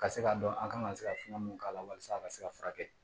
Ka se ka dɔn an kan ka se ka fɛn mun k'a la walasa a ka se ka furakɛ